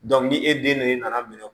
ni e den ne nana minɛ